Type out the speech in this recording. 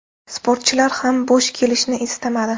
Sportchilar ham bo‘sh kelishni istamadi.